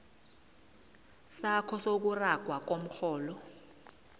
sakho sokuragwa komrholo